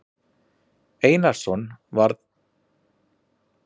Einarsson var mannasættir og lagði sig fram um að sigla lygnan sjó.